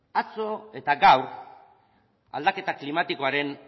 atzo eta gaur aldaketa klimatikoaren